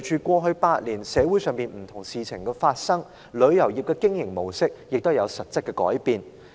過去8年，隨着社會上發生不同的事情，旅遊業的經營模式也有實質的改變。